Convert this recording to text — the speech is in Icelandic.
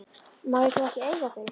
Má ég svo ekki eiga þau?